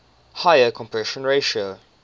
higher compression ratio